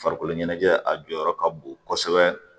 Farikolo ɲɛnajɛ a jɔyɔrɔ ka bon kosɛbɛ